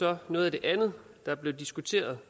var noget af det andet der blev diskuteret